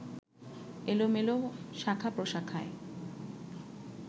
এলোমেলো শাখা প্রশাখায়